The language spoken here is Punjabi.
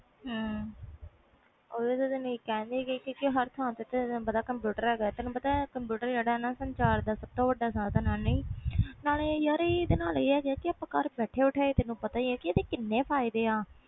ਓਹੀ ਤੇ ਤੈਨੂੰ ਕਹਿ ਰਹੀ ਆ ਹਰ ਥਾਂ ਕੰਪਿਊਟਰ ਹੈ ਗਾ ਵ ਕੰਪਿਊਟਰ ਜਿਹੜਾ ਹੈ ਗਏ ਸੰਚਾਰ ਦਾ ਬਹੁਤ ਵੱਡਾ ਸਾਧਨ ਆ ਨਾਲੇ ਯਾਰ ਤੈਨੂੰ ਪਤਾ ਵ ਇਹਦੇ ਘਰ ਬੈਠੇ ਬੈਠਾਏ ਕੀਨੇ ਫਾਇਦੇ ਆ